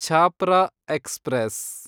Chhapra express